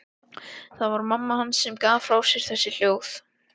Það var mamma hans sem gaf frá sér þessi hljóð.